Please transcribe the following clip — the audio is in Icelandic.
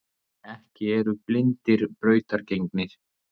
Ekki eru blindir brautargengir.